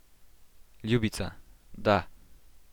Ljubica, da.